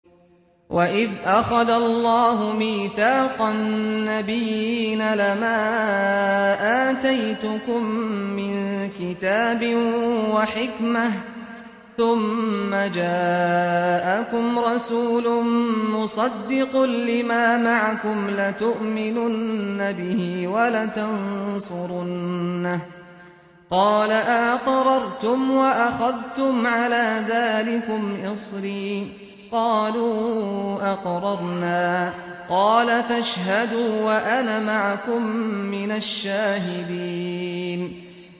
وَإِذْ أَخَذَ اللَّهُ مِيثَاقَ النَّبِيِّينَ لَمَا آتَيْتُكُم مِّن كِتَابٍ وَحِكْمَةٍ ثُمَّ جَاءَكُمْ رَسُولٌ مُّصَدِّقٌ لِّمَا مَعَكُمْ لَتُؤْمِنُنَّ بِهِ وَلَتَنصُرُنَّهُ ۚ قَالَ أَأَقْرَرْتُمْ وَأَخَذْتُمْ عَلَىٰ ذَٰلِكُمْ إِصْرِي ۖ قَالُوا أَقْرَرْنَا ۚ قَالَ فَاشْهَدُوا وَأَنَا مَعَكُم مِّنَ الشَّاهِدِينَ